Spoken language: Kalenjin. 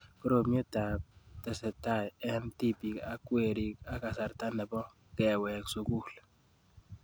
Koromiet ab tesetait eng' tipik ak werik ak kasarta nepo kewek sukul